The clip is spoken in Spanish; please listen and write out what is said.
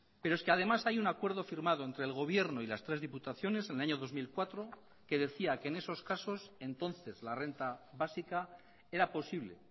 pero es que además hay un acuerdo firmado entre el gobierno y las tres diputaciones en el año dos mil cuatro que decía que en esos casos entonces la renta básica era posible